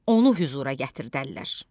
Onu hüzura gətirdərlər.